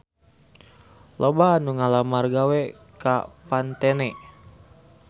Loba anu ngalamar gawe ka Pantene